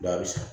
Ba bɛ san